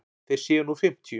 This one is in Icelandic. Þeir séu nú fimmtíu.